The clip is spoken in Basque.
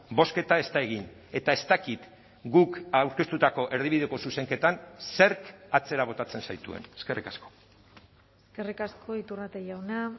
bozketa ez da egin eta ez dakit guk aurkeztutako erdibideko zuzenketan zerk atzera botatzen zaituen eskerrik asko eskerrik asko iturrate jauna